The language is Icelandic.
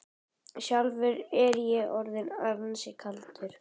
Sjálfur var ég orðinn ansi kaldur.